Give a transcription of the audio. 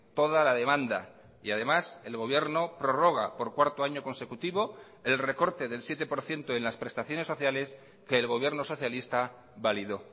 toda la demanda y además el gobierno prorroga por cuarto año consecutivo el recorte del siete por ciento en las prestaciones sociales que el gobierno socialista validó